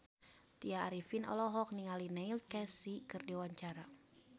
Tya Arifin olohok ningali Neil Casey keur diwawancara